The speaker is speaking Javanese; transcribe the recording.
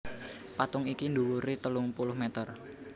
Patung iki dhuwure telung puluh meter